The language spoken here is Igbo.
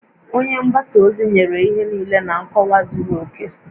Onye mgbasa ozi nyere ihe niile na nkọwa zuru oke